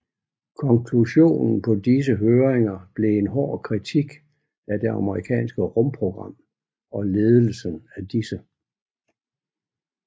Konklusionen på disse høringer blev en hård kritik af det amerikanske rumprogram og ledelsen af disse